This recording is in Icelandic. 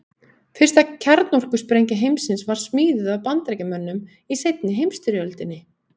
fyrsta kjarnorkusprengja heimsins var smíðuð af bandaríkjamönnum í seinni heimsstyrjöldinni